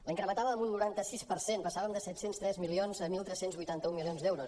la incrementava en un noranta sis per cent passàvem de set cents i tres milions a tretze vuitanta u milions d’euros